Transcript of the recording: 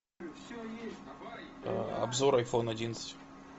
обзор айфон одиннадцать